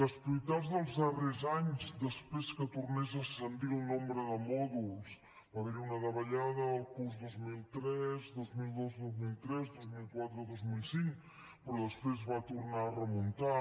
les prioritats dels darrers anys després que tornés a ascendir el nombre de mòduls va haver hi una davallada el curs dos mil dos dos mil tres dos mil quatre dos mil cinc però després va tornar a remuntar